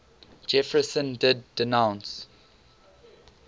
jefferson did denounce